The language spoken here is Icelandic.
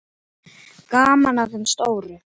Gaman að þeim stóru.